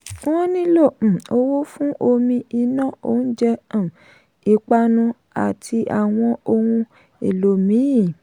wọ́n nílò um owó fún omi iná oúnjẹ um ìpanu àti àwọn ohun èlò míì.